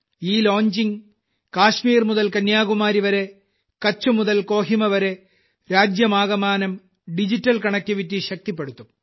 ഈ ലോഞ്ചിംഗ് കാശ്മീർ മുതൽ കന്യാകുമാരിവരെ കഛ് മുതൽ കൊഹിമവരെ രാജ്യമാകമാനം ഡിജിറ്റൽ connecttÈy ശക്തിപ്പെടുത്തും